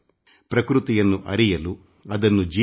ಈಗ ಅವರು ಪ್ರಕೃತಿಯನ್ನು ತಿಳಿಯುವ ಪ್ರಯತ್ನ ಮಾಡುತ್ತಿದ್ದಾರೆ